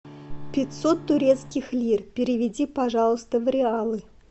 пятьсот турецких лир переведи пожалуйста в реалы